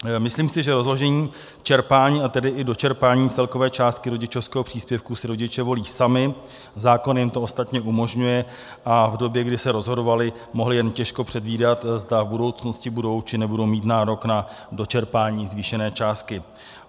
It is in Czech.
Myslím si, že rozložení čerpání, a tedy i dočerpání celkové částky rodičovského příspěvku si rodiče volí sami, zákon jim to ostatně umožňuje, a v době, kdy se rozhodovali, mohli jen těžko předvídat, zda v budoucnosti budou, či nebudou mít nárok na dočerpání zvýšené částky.